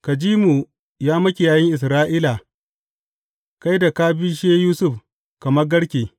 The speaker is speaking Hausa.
Ka ji mu, ya Makiyayin Isra’ila, kai da ka bishe Yusuf kamar garke.